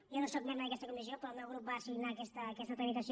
jo no sóc membre d’aquesta comissió però el meu grup em va assignar aquesta tramitació